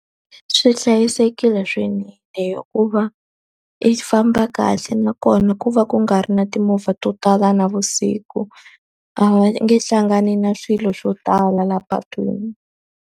Swi hlayisekile hikuva i famba kahle nakona ku va ku nga ri na timovha to tala navusiku. A va nge hlangani na swilo swo tala laha patwini.